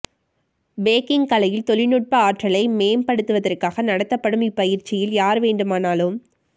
packing கலையில் தொழில்நுட்ப ஆற்றலை மேம்படுத்தவதற்காக நடத்தப்படும் இப்பயிற்சியில் யார் வேண்டுமானாலும்